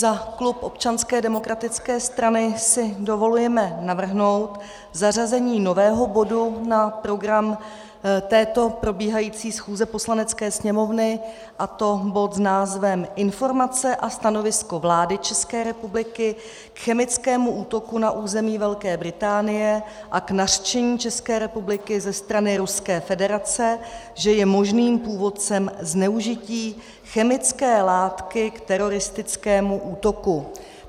Za klub Občanské demokratické strany si dovolujeme navrhnout zařazení nového bodu na program této probíhající schůze Poslanecké sněmovny, a to bodu s názvem Informace a stanovisko vlády České republiky k chemickému útoku na území Velké Británie a k nařčení České republiky ze strany Ruské federace, že je možným původcem zneužití chemické látky k teroristickému útoku.